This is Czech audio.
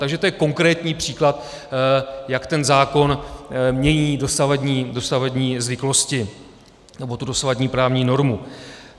Takže to je konkrétní příklad, jak ten zákon mění dosavadní zvyklosti nebo tu dosavadní právní normu.